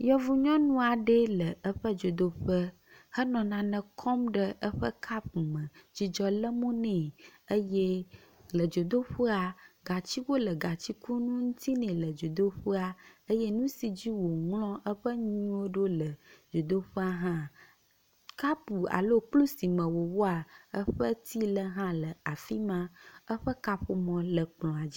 Yevunyɔnu aɖee le eƒe dzodoƒe hele nane kɔm ɖe eƒe kapu me. Dzidzɔ le mo nɛ eye le dzodoƒea gatsiwo le gatsikunu ŋuti nɛ le dzoteƒea. Eye nu si dzi wòŋlɔa eƒe nuwo ɖo le dzodoƒe hã. Kapu alo kplu si me wòwɔa eƒe ti le hã le afi ma. Eƒe kaƒomɔ le kplɔa dzi.